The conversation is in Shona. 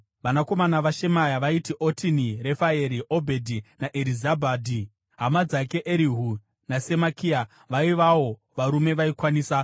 Vanakomana vaShemaya vaiti: Otini, Refaeri, Obhedhi naErizabhadhi; hama dzake Erihu naSemakia vaivawo varume vaikwanisa.